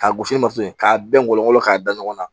Ka gosi ni masin k'a bɛn ngɔnɔn k'a da ɲɔgɔn na